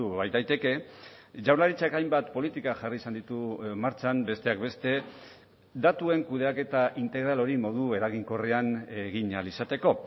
baitaiteke jaurlaritzak hainbat politika jarri izan ditu martxan besteak beste datuen kudeaketa integral hori modu eraginkorrean egin ahal izateko